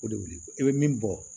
O de wele i be min bɔ